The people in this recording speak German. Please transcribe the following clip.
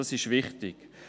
Das ist wichtig.